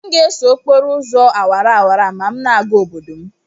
M ga-eso okporo ụzọ awara awara a ma m na-aga obodo m